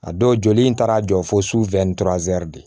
A dɔw joli in taara a jɔ fo su de